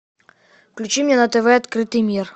включи мне на тв открытый мир